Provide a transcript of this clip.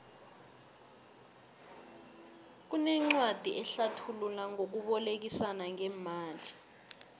kunencwadi ehlathula ngokubolekisana ngemali